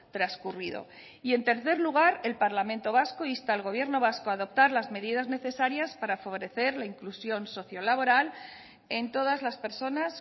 transcurrido y en tercer lugar el parlamento vasco insta al gobierno vasco a adoptar las medidas necesarias para favorecer la inclusión socio laboral en todas las personas